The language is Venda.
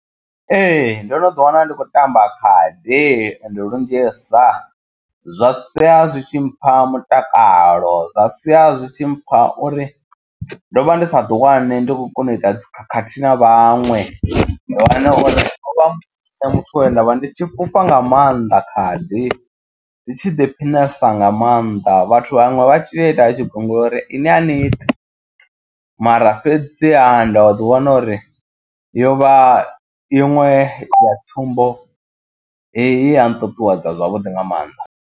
Ee ndo no ḓi wana ndi khou tamba khadi ende lunzhisa. Zwa sia zwi tshi mpha mutakalo zwa sia zwi tshi mpha uri ndo vha ndi sa ḓi wani ndi khou kona u ita dzi khakhathi na vhaṅwe. Ndi wane uri ho vha nṋe muthu we nda vha ndi tshi fhufha nga maanḓa khadi. Ndi tshi ḓiphinesa nga maanḓa vhathu vhaṅwe vha tshi to ita vha tshi gungula uri ini a ni ṱi. Mara fhedziha nda ḓi wana uri yo vha iṅwe ya tsumbo ye ya nṱuṱuwedza zwavhuḓi nga maanḓa.